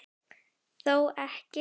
Þó ekki?